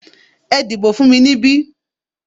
Ẹ dìbò fún mi níbí!